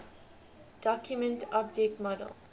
document object model